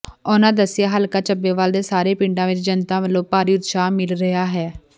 ਉਨ੍ਹਾਂ ਦੱਸਿਆ ਹਲਕਾ ਚੱਬੇਵਾਲ ਦੇ ਸਾਰੇ ਪਿੰਡਾਂ ਵਿਚ ਜਨਤਾ ਵਲੋਂ ਭਾਰੀ ਉਤਸ਼ਾਹ ਮਿਲ ਰਿਹਾ ਹੈ